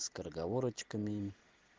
скороговорочками